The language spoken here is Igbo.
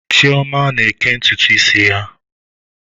Chioma na-eke ntutu isi ya.